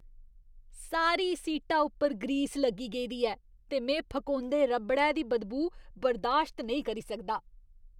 सारी सीटा उप्पर ग्रीस लग्गी गेदी ऐ ते में फकोंदे रबड़ै दी बदबू बर्दाश्त नेईं करी सकदा।